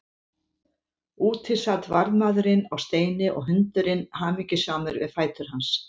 Úti sat varðmaðurinn á steini og hundurinn hamingjusamur við fætur hans.